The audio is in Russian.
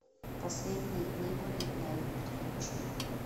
последние дни во вьетнаме подключи